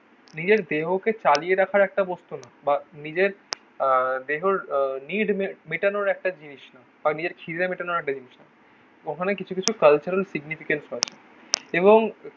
নিজের দেহকে চালিয়ে রাখার একটা বস্তু না. বা নিজের আহ দেহর আহ নিড মেটানোর একটা জিনিস না. বা নিজের খিদে মেটানোর একটা জিনিস না ওখানে কিছু কিছু কালচারাল সিগনিফিকেটস আছে এবং